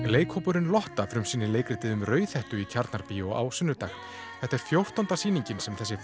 leikhópurinn Lotta frumsýnir leikritið um Rauðhettu í Tjarnarbíó á sunnudag þetta er fjórtánda sýningin sem þessi